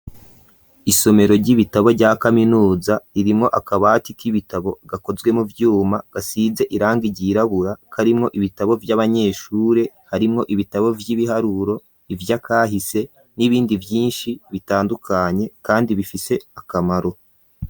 Isomero ry'ibitabo rya kaminuza ririmwo akabati k'ibitabo gakozwe mu vyuma gasize irangi ryirabura karimwo ibitabo vy'abanyeshure harimwo ibitabo vy'ibiharuro ivy'akahise n'ibindi vyinshi bitandukanye kandi bifise akamaro.